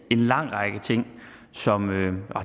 en lang række ting som